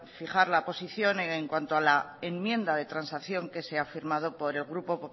fijar la posición en cuanto a la enmienda de transacción que se ha firmado por el grupo